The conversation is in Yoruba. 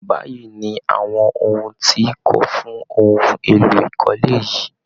Báyìí ni awọn ohun ti kò fún ohun elo ikole yìí.